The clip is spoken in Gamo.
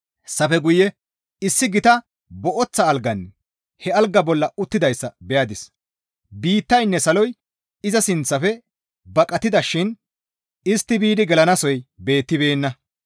Hessafe guye issi gita booththa alganne he algaa bolla uttidayssa beyadis; biittaynne saloy iza sinththafe baqatida shin istti biidi gelanasoy beettibeenna.